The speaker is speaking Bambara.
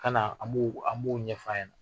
Ka na an b'u o an bo ɲɛfa